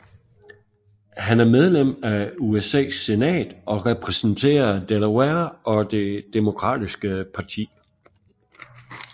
Han medlem af USAs senat og repræsenterer Delaware og Det demokratiske parti